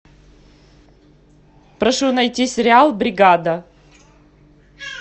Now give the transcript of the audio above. прошу найти сериал бригада